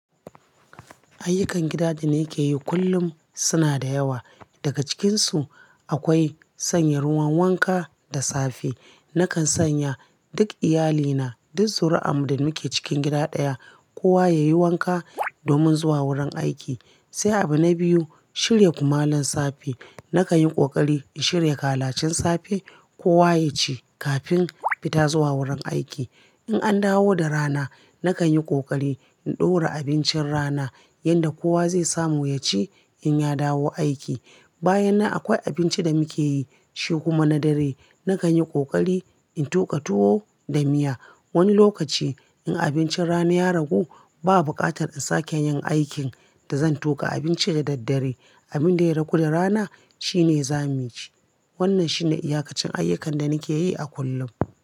Ayyukan gida da nake yi kullum suna da yawa. Daga cikinsu akwai sanya ruwan wanka da safe. Nakan sanya duk iyalina, duk zuri'an da muke cikin gida ɗaya, kowa yayi wanka domin zuwa wurin aiki. Sai abu na biyu, shirya kumallon safe. Nakan yi ƙoƙari in shirya kalacen safe kowa ya ci kafin fita zuwa wurin aiki. In an dawo da rana, nakan yi ƙoƙari in ɗora abincin rana yanda kowa zai samu ya ci in ya dawo aiki. Bayan nan akwai abinci da muke yi shi kuma na dare. Nakan yi ƙoƙari in tuƙa tuwo da miya. Wani lokaci in abincin rana ya ragu, baba bukatar in sake yin aikin da zan tuƙa abinci da daddare. Abin da ya ragu da rana shine za mu ci. Wannan shine iyakacin ayyukan da nake yi a kullum.